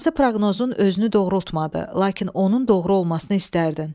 Hansı proqnozun özünü doğrultmadı, lakin onun doğru olmasını istərdin?